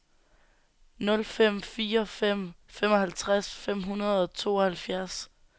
nul fem fire fem femoghalvtreds fem hundrede og tooghalvfjerds